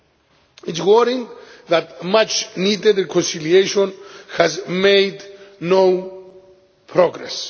It is worrying that much needed conciliation has made no progress.